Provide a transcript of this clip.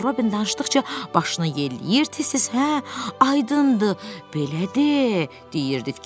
Kristofer Robin danışdıqca başını yelləyir, tez-tez “Hə, aydındır, belədir!” deyirdi.